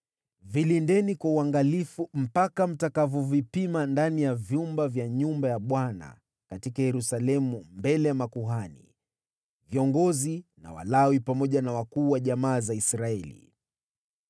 Vilindeni kwa uangalifu mpaka mtakapovipima ndani ya vyumba vya nyumba ya Bwana katika Yerusalemu mbele ya makuhani, viongozi na Walawi pamoja na wakuu wa jamaa za Israeli.”